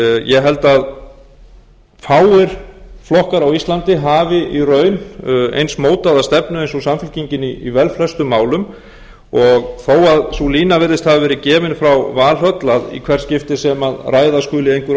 ég held að fáir flokkar á íslandi hafi í raun eins mótaða stefnu eins og samfylkingin í velflestum málum og þó að sú lína virðist hafa verið gefin frá valhöll að í hvert skipti sem ræða skuli einhver